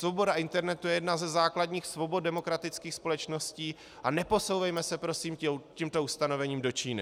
Svoboda internetu je jedna ze základních svobod demokratických společností a neposouvejme se prosím tímto ustanovením do Číny.